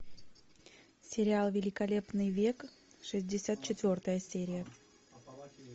сериал великолепный век шестьдесят четвертая серия